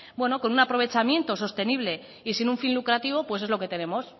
con un aprovechamiento sostenible y sin un fin lucrativo pues es lo que tenemos